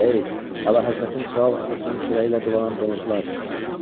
Ey, Əlahəzrətin kral atasının çörəyi ilə dolanan donuzlar!